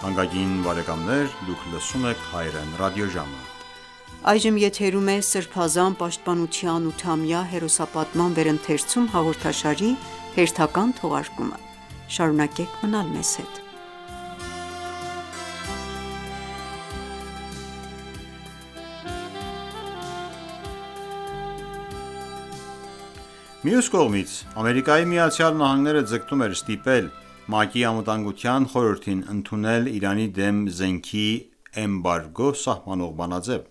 Մյուս կողմից, ԱՄՆ-ը ձգտում էր ստիպել ՄԱԿ-ի Անվտանգության խորհրդին ընդունել Իրանի դեմ զենքի էմբարգո սահմանող բանաձեւ: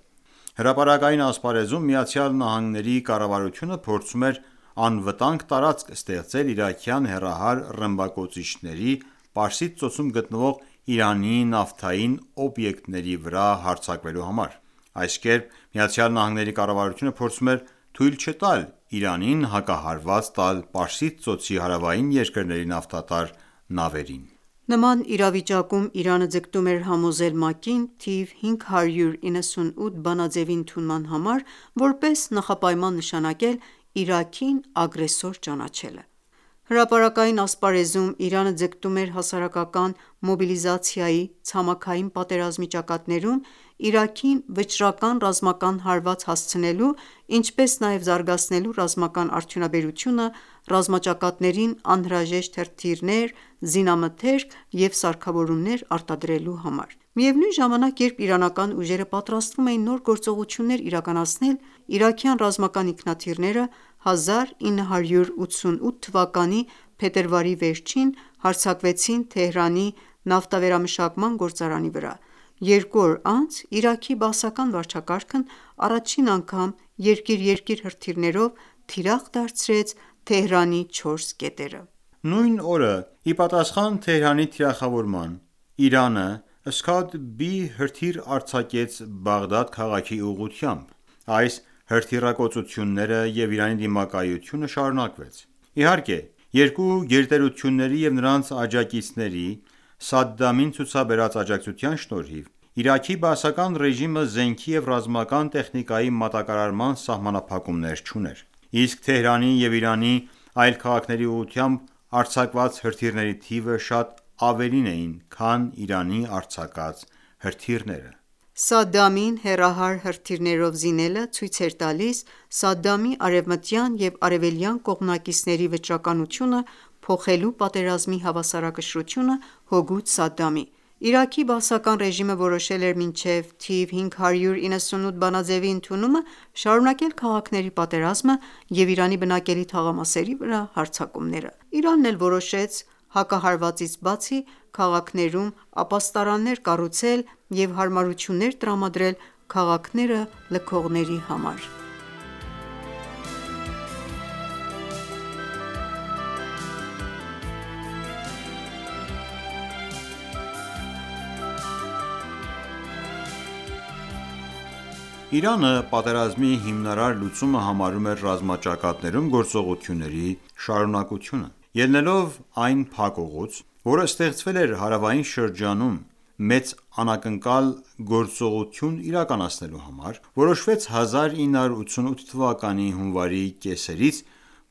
Հրապարակային ասպարեզում ԱՄՆ կառավարությունը փորձում էր անվտանգ տարածք ստեղծել իրաքյան հեռահար ռմբակոծիչների Պարսից ծոցում գտնվող Իրանի նավթային օբյեկտների վրա հարձակվելու համար: Այս կերպ ԱՄՆ կառավարությունը փորձում էր թույլ չտալ Իրանին հակահարված տալ Պարսից ծոցի հարավային երկրների նավթատար նավերին։ Նման իրավիճակում Իրանը ձգտում էր համոզել ՄԱԿ-ին թիվ 598 բանաձևի ընդունման համար որպես նախապայման նշանակել՝ Իրաքին ագրեսոր ճանաչելը: Հրապարակային ասպարեզում Իրանը ձգտում էր հասարակական մոբիլիզացիայի՝ ցամաքային պատերազմի ճակատներում Իրաքին վճռական ռազմական հարված հասցնելու, ինչպես նաև զարգացնելու ռազմական արդյունաբերությունը՝ ռազմաճակատներին անհրաժեշտ հրթիռներ, զինամթերք և սարքավորումներ արտադրելու համար: Միևնույն ժամանակ, երբ իրանական ուժերը պատրաստվում էին նոր գործողություններ իրականացնել, իրաքյան ռազմական ինքնաթիռները 1988 թվականի փետրվարի վերջին հարձակվեցին Թեհրանի նավթավերամշակման գործարանի վրա։ Երկու օր անց Իրաքի Բաասական վարչակարգն առաջին անգամ «երկիր-երկիր» հրթիռներով թիրախ դարձրեց Թեհրանի չորս կետերը: Նույն օրը, ի պատասխան Թեհրանի թիրախավորման, Իրանը Scodby հրթիռ արձակեց Բաղդադ քաղաքի ուղղությամբ։ Այս հրթիռակոծությունները և Իրանի դիմակայությունը շարունակվեց։ Իհարկե, երկու գերտերությունների և նրանց աջակիցների՝ Սադդամին ցուցաբերած աջակցության շնորհիվ, Իրաքի Բաասական ռեժիմը զենքի և ռազմական տեխնիկայի մատակարարման սահմանափակումներ չուներ, իսկ Թեհրանի և Իրանի այլ քաղաքների ուղղությամբ արձակված հրթիռների թիվը շատ ավելին էր քան Իրանի արձակած հրթիռները։ Սադդամին հեռահար հրթիռներով զինելը ցույց էր տալիս Սադդամի արևմտյան և արևելյան կողմնակիցների վճռականությունը՝ փոխելու պատերազմի հավասարակշռությունը հօգուտ Սադդամի։ Իրաքի Բաասական ռեժիմը որոշել էր մինչև թիվ 598 բանաձեւի ընդունումը շարունակել քաղաքների պատերազմը և Իրանի բնակելի թաղամասերի վրա հարձակումները։ Իրանն էլ որոշեց հակահարվածից բացի, քաղաքներում ապաստարաններ կառուցել և հարմարություններ տրամադրել քաղաքները լքողների համար: Իրանը պատերազմի հիմնարար լուծումը համարում էր ռազմաճակատներում գործողությունների շարունակությունը։ Ելնելով այն փակուղուց, որը ստեղծվել էր հարավային շրջանում մեծ անակնկալ գործողություն իրականացնելու համար, որոշվեց 1988 թվականի հունվարի կեսերից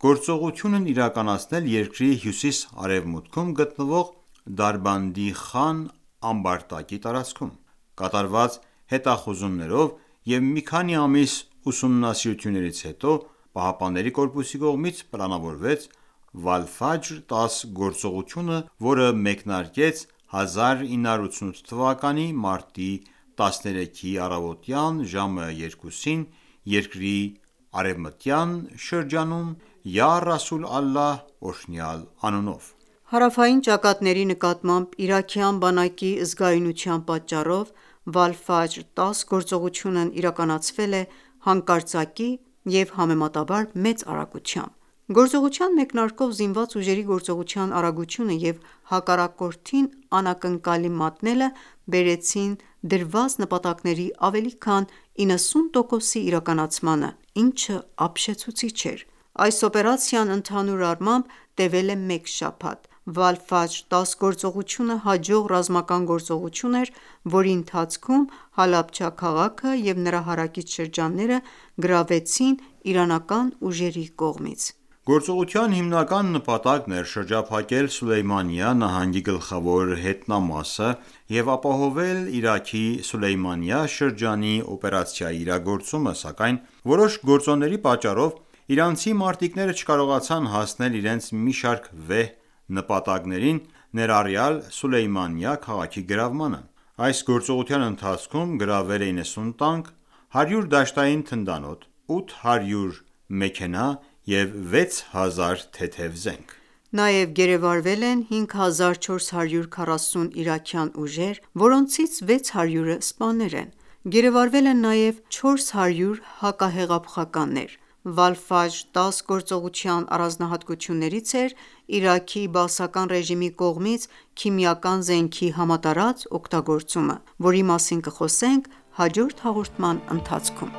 գործողությունն իրականացնել երկրի հյուսիս-արևմուտքում գտնվող Դարբանդի Խան ամբարտակի տարածքում։ Կատարված հետախուզումներով և մի քանի ամիս ուսումնասիրություններից հետո ԻՀՊԿ-ի կողմից պլանավորվեց «Վալֆաջր 10» գործողությունը, որը մեկնարկեց 1988 թվականի մարտի 13-ի առավոտյան ժամը 2-ին երկրի արևմտյան շրջանում «Յա Ռասուլ Ալլահ» օրհնյալ անունով: Հարավային ճակատների նկատմամբ իրաքյան բանակի զգայունության պատճառով Վալֆաջր 10 գործողությունն իրականացվել է հանկարծակի և համեմատաբար մեծ արագությամբ։ Գործողության մեկնարկով զինված ուժերի գործողության արագությունը և հակառակորդին անակնկալի մատնելը բերեցին դրված նպատակների ավելի քան 90 տոկոսի իրականացմանը, ինչը ապշեցուցիչ էր։ Այս օպերացիան ընդհանուր առմամբ տեւել է մեկ շաբաթ։ «Վալֆաջր 10» գործողությունը հաջող ռազմական գործողություն էր, որի ընթացքում Հալաբջա քաղաքը և նրա հարակից շրջանները գրավվեցին իրանական ուժերի կողմից: Գործողության հիմնական նպատակն էր շրջափակել Սուլեյմանիա նահանգի գլխավոր հետնամասը և ապահովել Իրաքի Սուլեյմանիա շրջանի օպերացիայի իրագործումը, սակայն որոշ գործոնների պատճառով իրանցի մարտիկները չկարողացան հասնել իրենց մի շարք վեհ նպատակներին, ներառյալ Սուլեյմանիա քաղաքի գրավմանը: Այս գործողության ընթացքում գրավվել են 90 տանկ, 100 դաշտային թնդանոթ, 800 մեքենա և 6000 թեթև զենք։ Նաև գերեվարվել են 5440 իրաքյան ուժեր, որոնցից 600-ը սպաներ են։ Գերեվարվել են նաև 400 հակահեղափոխականներ։ «Վալֆաջր-10» գործողության առանձնահատկություններից էր Իրաքի բաասական ռեժիմի կողմից քիմիական զենքի համատարած օգտագործումը: Այս մասին կխոսենք հաջորդ հաղորդման ընթացքում։